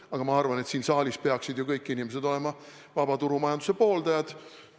Aga ma arvan, et siin saalis peaksid kõik inimesed olema vaba turumajanduse pooldajad.